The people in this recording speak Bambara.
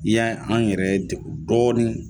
Ni ya an yɛrɛ degun dɔɔni